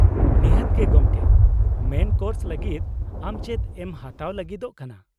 ᱱᱤᱛᱟᱹᱛ ᱜᱮ ᱜᱚᱢᱠᱮ ᱾ ᱢᱮᱱ ᱠᱳᱨᱥ ᱞᱟᱹᱜᱤᱫ ᱟᱢ ᱪᱮᱫ ᱮᱢ ᱦᱟᱛᱟᱣ ᱞᱟᱜᱤᱫᱚᱜ ᱠᱟᱱᱟ ?